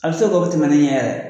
A bɛ se kɛ o tɛmɛnnen ɲɛ